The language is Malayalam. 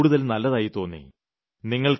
അതെനിക്ക് കൂടുതൽ നല്ലതായി തോന്നി